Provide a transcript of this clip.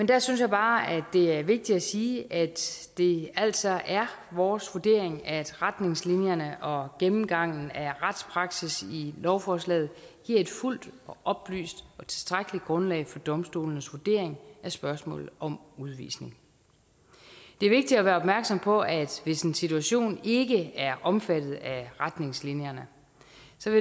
der synes jeg bare at det er vigtigt at sige at det altså er vores vurdering at retningslinjerne og gennemgangen af retspraksis i lovforslaget giver et fuldt oplyst og tilstrækkeligt grundlag for domstolenes vurdering af spørgsmålet om udvisning det er vigtigt at være opmærksom på at hvis en situation ikke er omfattet af retningslinjerne